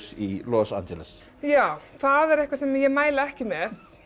í Los Angeles já það er eitthvað sem ég mæli ekki með